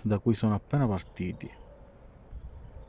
da cui sono appena partiti